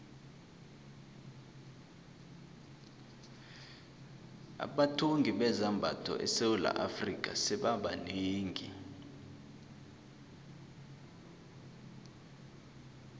abathungi bezambatho esewula afrika sebaba banengi